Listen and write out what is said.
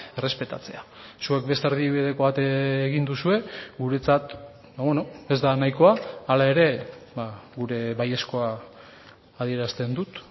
errespetatzea zuek beste erdibideko bat egin duzue guretzat ez da nahikoa hala ere gure baiezkoa adierazten dut